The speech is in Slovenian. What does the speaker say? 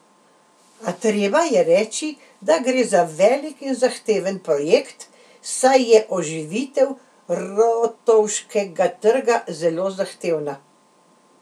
A treba je reči, da gre za velik in zahteven projekt, saj je oživitev Rotovškega trga zelo zahtevna.